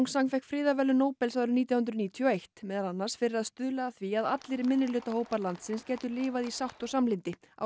San fékk friðarverðlaun Nóbels árið nítján hundruð níutíu og eitt meðal annars fyrir að stuðla að því að allir minnihlutahópar landsins gætu lifað í sátt og samlyndi á